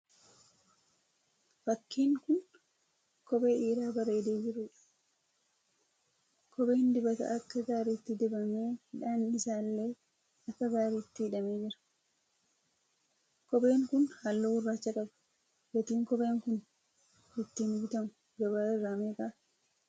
Fakkiin kun kophee dhiiraa bareedee jiruudha. Kopheen dibata akka gaariitti dibamee hidhaan isaa illee akka gaariitti hidhamee jira. Kopheen kun halluu gurraacha qaba. Gatiin kopheen kun ittiin bitamu gabaa irra meeqa?